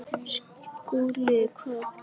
SKÚLI: Hvað viltu gera?